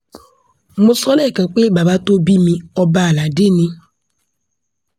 mo sọ lẹ́ẹ̀kan pé bàbá tó bí mi ọba aládé ni